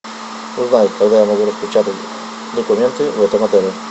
узнай когда я могу распечатать документы в этом отеле